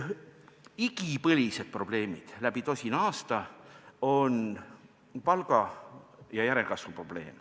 Igipõlised probleemid läbi tosina aasta on palga ja järelkasvu probleem.